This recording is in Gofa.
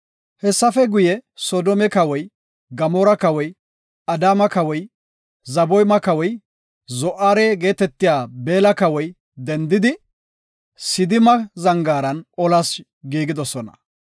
Hessafe guye, Soodome kawoy, Gamoora kawoy, Adaama kawoy, Zeboyma kawoy, Zo7aare geetetiya Beella kawoy dendidi Sidima zangaaran olas giigidosona.